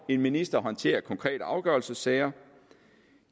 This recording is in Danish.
en minister håndterer konkrete afgørelsessager